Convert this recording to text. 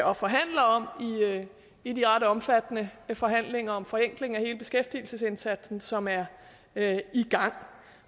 og forhandler om i de ret omfattende forhandlinger om forenkling af hele beskæftigelsesindsatsen som er er i gang